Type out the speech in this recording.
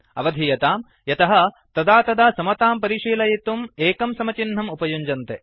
अवधीयताम् यतः तदा तदा समतां परिशीलयितुम् सिंगल इक्वल तो एकं समचिह्नम् उपयुञ्जन्ते